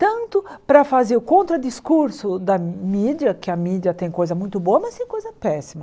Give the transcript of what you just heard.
Tanto para fazer o contradiscurso da mídia, que a mídia tem coisa muito boa, mas tem coisa péssima.